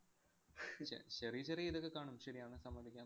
ചെറിയ ചെറിയ ഇതൊക്കെ കാണും. ശരിയാണ് സമ്മതിക്കാം.